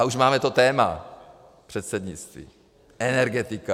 A už máme to téma - předsednictví, energetika.